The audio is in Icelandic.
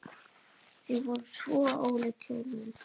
Þau voru svo ólík hjónin.